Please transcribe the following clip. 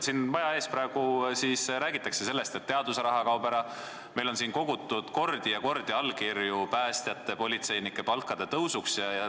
Siin maja ees räägitakse praegu sellest, et teadusraha kaob ära, meil on kogutud mitmeid kordi allkirju päästjate ja politseinike palga tõusuks.